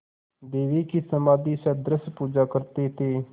देवी की समाधिसदृश पूजा करते थे